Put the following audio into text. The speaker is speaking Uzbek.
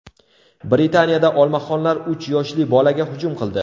Britaniyada olmaxonlar uch yoshli bolaga hujum qildi.